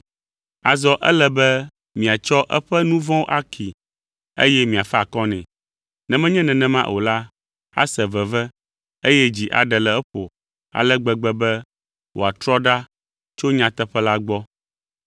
Azɔ ele be miatsɔ eƒe nu vɔ̃wo akee, eye miafa akɔ nɛ. Ne menye nenema o la, ase veve eye dzi aɖe le eƒo ale gbegbe be wòatrɔ ɖa tso nyateƒe la gbɔ.